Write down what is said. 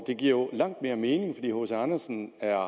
det giver langt mere mening fordi hc andersen er